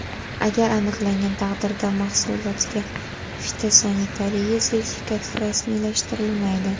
Agar aniqlangan taqdirda, mahsulotga fitosanitariya sertifikati rasmiylashtirilmaydi.